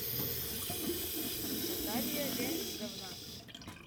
наталия леонидовна